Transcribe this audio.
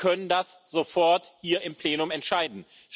Wir können das sofort hier im Plenum entscheiden.